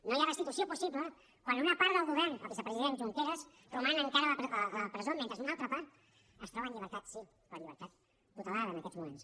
no hi ha restitució possible quan una part del govern el vicepresident junqueras roman encara a la presó mentre una altra part es troba en llibertat sí però en llibertat tutelada en aquests moments